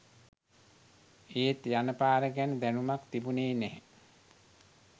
ඒත් යන පාර ගැන දැනුමක් තිබුනේ නැහැ